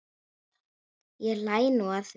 Ég hlæ nú að því.